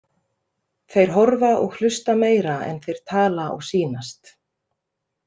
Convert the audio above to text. Þeir horfa og hlusta meira en þeir tala og sýnast.